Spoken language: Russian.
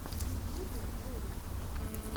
в ютюбе ролики